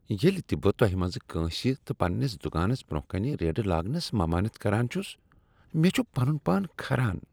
ییٚلہ تہ بہٕ تۄہہ منٛزٕ کٲنٛسہ تہ پنٛنس دکانس برٛۄنہہ کنہ ریڑٕ لاگنس ممٲنیت کران چھسوٕ، مےٚ چھ پنن پان کھران۔